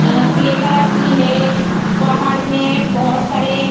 अ grey colour की है पहाड़ में बहुत सारे --